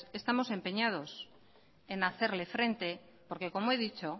estamos empeñados en hacerle frente porque como he dicho